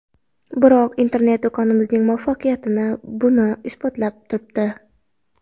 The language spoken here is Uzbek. Biroq internet-do‘konimizning muvaffaqiyati buni isbotlab turibdi.